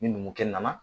Ni numukɛ nana